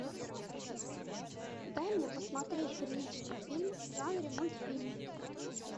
дай мне посмотреть приличный фильм в жанре мультфильм